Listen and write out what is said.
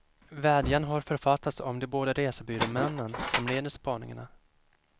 Vädjan har författats av de båda resebyråmännen som leder spaningarna.